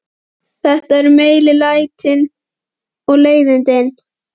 Þetta voru meiri lætin og leiðindin.